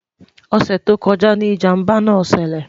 ọsẹ tó kojá ní ìjàmbá nà ṣẹlẹ